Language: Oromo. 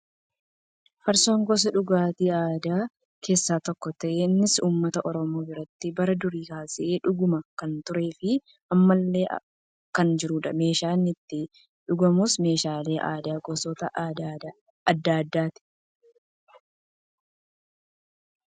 Farsoon gosa dhugaatii aadaa keessaa tokko ta'ee innis uummata oromoo biratti bara durii kaasee dhugamaa kan turee fi ammallee kan jirudha. Meeshaan inni itti dhugamus meeshaalee aadaa gosoota adda addaati.